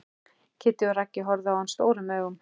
Kiddi og Raggi horfa á hann stórum augum.